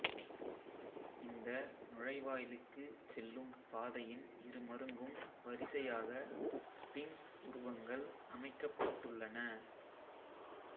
இந்த நுழைவாயிலுக்குச் செல்லும் பாதையின் இரு மருங்கும் வரிசையாக ஸ்ஃபிங்ஸ் உருவங்கள் அமைக்கப்பட்டுள்ளன